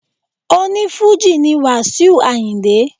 Oní Fújì ni Wasiu Ayinde.